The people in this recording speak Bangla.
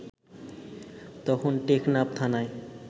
তখন টেকনাফ থানায়